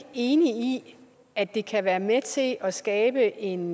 enig i at det kan være med til at at skabe en